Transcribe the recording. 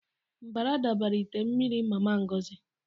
Mbara dabara ite mmiri Mama Ngozi.